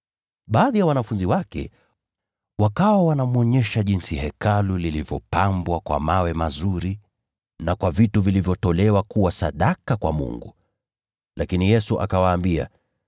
Baadhi ya wanafunzi wake wakawa wanamwonyesha jinsi Hekalu lilivyopambwa kwa mawe mazuri na kwa vitu vilivyotolewa kuwa sadaka kwa Mungu. Lakini Yesu akawaambia,